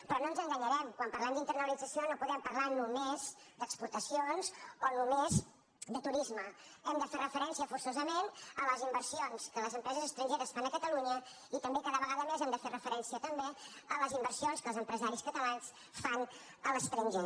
però no ens enganyarem quan parlem d’internalitza·ció no podem parlar només d’exportacions o només de turisme hem de fer referència forçosament a les inver·sions que les empreses estrangeres fan a catalunya i també cada vegada més hem de fer referència també a les inversions que els empresaris catalans fan a l’es·tranger